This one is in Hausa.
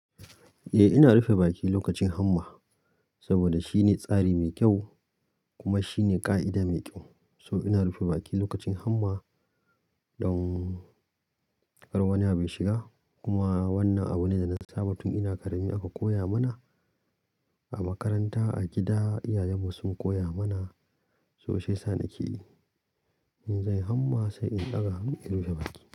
Eh ina rufe baki lokacin hamma saboda shine tsari mai kyau kuma shine ƙa'ida mai kyau. So ina rufe baki lokacin hamma don kar wani abu ya shiga. Kuma wannan abu ne da na saba tun ina ƙarami aka koya mana a makaranta, a gida, iyayenmu sun koya mana so shiyasa na ke yi. In zanyi hamma sai in ɗaga hannu in rufe baki.